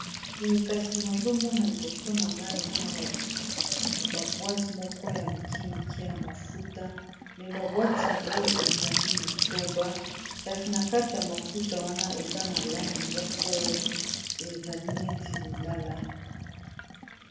Boye kasi nazomona liboso na nga eza na ba bwati moko ya mike mike ya mafuta, me ba bwati yango ezali motoba kasi na kati ya mafuta wana eza na langi moko ezali neti lilala.